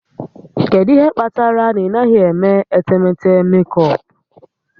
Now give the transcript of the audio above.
Kedu ihe kpatara na ị naghị eme etemeete mekọpụ?